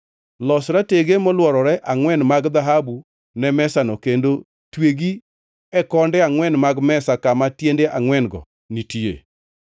Los ratege molworore angʼwen mag dhahabu ne mesano kendo twegi e konde angʼwen mag mesa kama tiende angʼwen-go nitie.